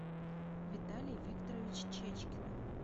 виталий викторович чечкин